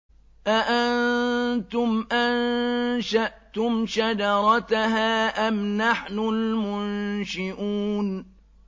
أَأَنتُمْ أَنشَأْتُمْ شَجَرَتَهَا أَمْ نَحْنُ الْمُنشِئُونَ